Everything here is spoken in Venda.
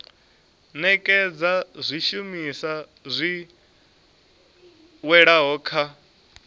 nekedza zwishumiswa zwi oeaho kha